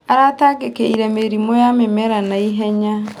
Aratangĩkĩire mĩrimũ ya mĩmera na ihenya.